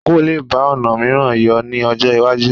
Àǹkóò lè bá ọ̀nà mìíràn yọ ní ọjọ́ iwájú